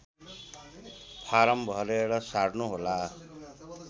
form भरेर सार्नुहोला